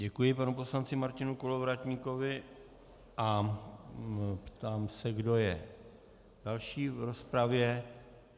Děkuji panu poslanci Martinu Kolovratníkovi a ptám se, kdo je další v rozpravě.